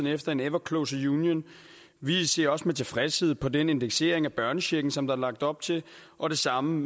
efter en ever closer union vi ser også med tilfredshed på den indeksering af børnechecken som der er lagt op til og det samme